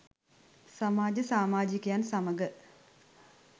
සමාජ සාමාජිකයන් සමඟ